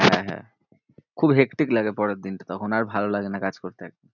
খুব hectic লাগে পরের দিন কে তখন আর ভালো লাগে না কাজ করতে আর।